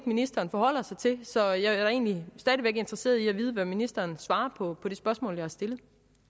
ministeren forholder sig til så jeg er da egentlig stadig væk interesseret i at vide hvad ministeren svarer på det spørgsmål jeg har stillet